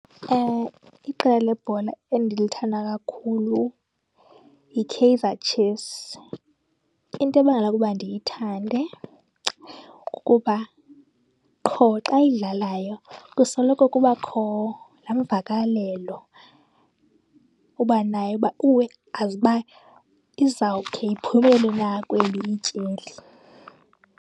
Ewe, iqela lebhola endilithanda kakhulu yiKaizer Chiefs. Into ebangela ukuba ndiyithande kukuba qho xa idlalayo kusoloko kubakho laa mvakalelo uba nayo uba uwe azi uba izawukhe iphumelele na kweli ityeli.